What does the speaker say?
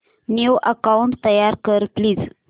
new account तयार कर please